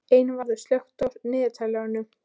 Einvarður, slökktu á niðurteljaranum.